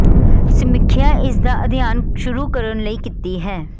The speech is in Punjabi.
ਸਮੀਖਿਆ ਇਸ ਦਾ ਅਧਿਐਨ ਸ਼ੁਰੂ ਕਰਨ ਲਈ ਕੀਤੀ ਹੈ